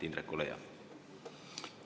Indrek, ole hea!